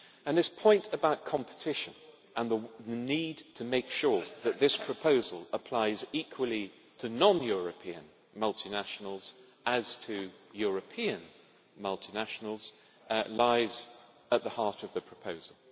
This point about competition and the need to make sure that this proposal applies equally to non European multinationals and to European multinationals lies at the heart of the proposal.